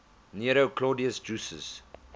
nero claudius drusus